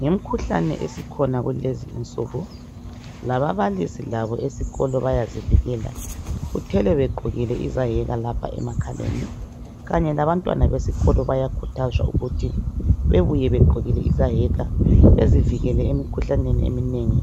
Ngemkhuhlane esikhona kulezi insuku lababalisi labo esikolo bayazivikela uthole begqokile izayeka lapha emakhaleni. Kanye labantwana besikolo bayakhuthazwa ukuthi bebuye begqokile izayeka bezivikele emkhuhlaneni eminengi